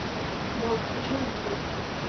болт хочу увидеть